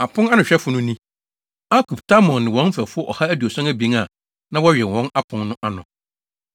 Aponanohwɛfo no ni: Akub, Talmon ne wɔn mfɛfo ɔha aduɔson abien a (172) na wɔwɛn wɔ apon no ano.